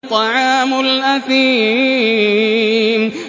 طَعَامُ الْأَثِيمِ